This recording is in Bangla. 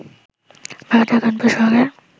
ভারতের কানপুর শহরের